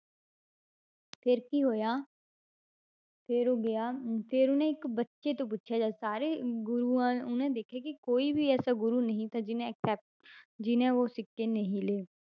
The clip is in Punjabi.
ਫਿਰ ਕੀ ਹੋਇਆ ਫਿਰ ਉਹ ਗਿਆ ਫਿਰ ਉਹਨੇ ਇੱਕ ਬੱਚੇ ਤੋਂ ਪੁੱਛਿਆ ਜਦ ਸਾਰੇ ਗੁਰੂਆਂ ਉਹਨੇ ਦੇਖਿਆ ਕਿ ਕੋਈ ਵੀ ਐਸਾ ਗੁਰੂ ਨਹੀਂ ਥਾ ਜਿੰਨੇ accept ਜਿਹਨੇ ਉਹ ਸਿੱਕੇ ਨਹੀਂ ਲਏ